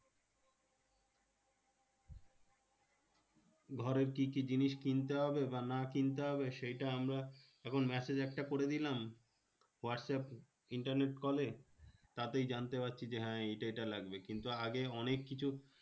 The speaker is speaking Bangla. ঘরের কি কি জিনিস কিনতে হবে বা না কিনতে হবে? সেটা আমরা এখন massage একটা করে দিলাম হোয়াটস্যাপ internet কলে। তাতেই জানতে পারছি যে, হ্যাঁ এইটা এইটা লাগবে। কিন্তু আগে অনেক কিছু